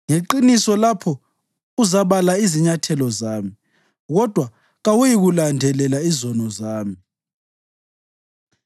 Ngeqiniso lapho uzabala izinyathelo zami kodwa kawuyikulandelela izono zami.